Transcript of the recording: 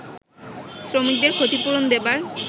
শ্রমিকদের ক্ষতিপূরণ দেবার